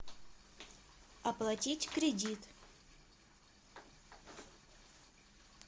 оплатить кредит